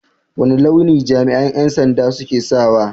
Wane launi jami'an 'yan sanda suke sawa?